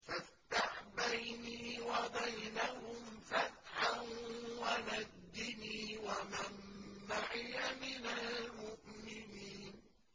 فَافْتَحْ بَيْنِي وَبَيْنَهُمْ فَتْحًا وَنَجِّنِي وَمَن مَّعِيَ مِنَ الْمُؤْمِنِينَ